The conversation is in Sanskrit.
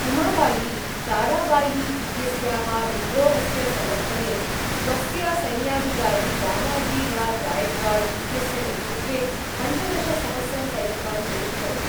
उमाबायी, ताराबायी इत्यस्याः विद्रोहस्य समर्थने, स्वस्य सैन्याधिकारी दामाजीराव् गायकवाड् इत्यस्य नेतृत्वे पञ्चदशसहस्रं सैनिकान् प्रेषितवती।